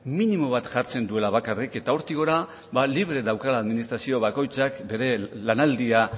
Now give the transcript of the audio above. minimo bat jartzen duela bakarrik eta hortik gora ba libre daukala administrazio bakoitzak bere lanaldia